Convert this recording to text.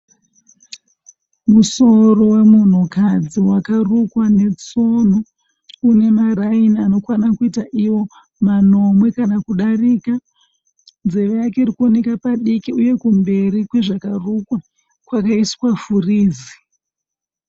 Musoro wemunhukadzi wakarukwa netsono. Une maraini anokwana kuita manomwe kana kudarika. Nzeve yake iri kuoneka padiki uye kumberi kwezvakarukwa kwakaiswa furizi.